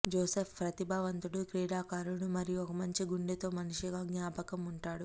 Joseph ప్రతిభావంతుడు క్రీడాకారుడు మరియు ఒక మంచి గుండె తో మనిషిగా జ్ఞాపకం ఉంటాడు